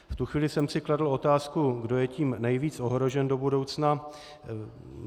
V tu chvíli jsem si kladl otázku, kdo je tím nejvíc ohrožen do budoucna.